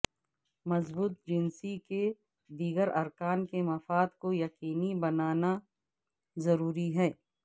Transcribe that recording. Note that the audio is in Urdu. مضبوط جنسی کے دیگر ارکان کے مفاد کو یقینی بنانا ضروری ہے